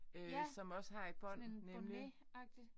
Ja. Sådan en bonnet agtigt